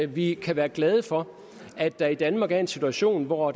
vi kan være glade for at der i danmark er en situation hvor